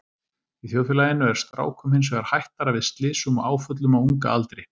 Í þjóðfélaginu er strákum hins vegar hættara við slysum og áföllum á unga aldri.